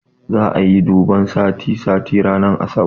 Za'a yi duban sati sati ranar asabar